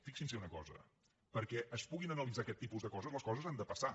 fixins’hi en una cosa perquè es puguin analitzar aquests tipus de coses les coses han de passar